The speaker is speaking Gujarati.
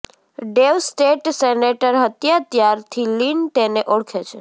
ડેવ સ્ટેટ સેનેટર હતા ત્યારથી લિન તેને ઓળખે છે